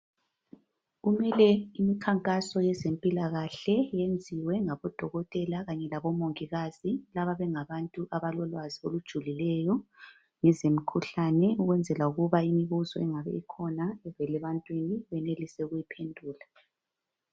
Kumele imikhankaso yezempilakahle yenziwe ngabodokotela kanye labomongikazi. Laba bengabantu abalolwazi olujulileyo ngezemikhuhlane ukwenzela imibuzo engabe ikhona evela ebantwini benelise ukuyiphendula.